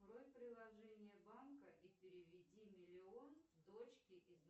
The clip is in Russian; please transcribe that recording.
открой приложение банка и переведи миллион дочке из